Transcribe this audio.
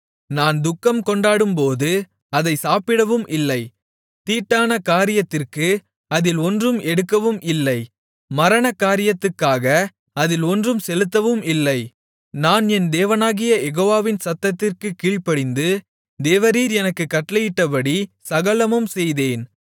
நான் துக்கம்கொண்டாடும்போது அதைச் சாப்பிடவும் இல்லை தீட்டான காரியத்திற்கு அதில் ஒன்றும் எடுக்கவும் இல்லை மரணகாரியத்துக்காக அதில் ஒன்றும் செலுத்தவும் இல்லை நான் என் தேவனாகிய யெகோவாவின் சத்தத்திற்குக் கீழ்ப்படிந்து தேவரீர் எனக்குக் கட்டளையிட்டபடி சகலமும் செய்தேன்